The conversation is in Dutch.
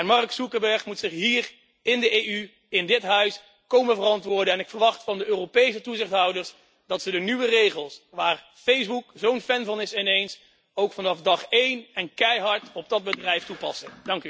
Mark Zuckerberg moet zich hier, in de EU, in dit huis komen verantwoorden en ik verwacht van de Europese toezichthouders dat ze de nieuwe regels waar Facebook zo'n fan van is ineens ook vanaf dag één en keihard op dat bedrijf toepassen.